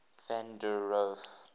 van der rohe